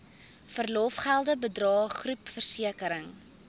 verlofgelde bydrae groepversekering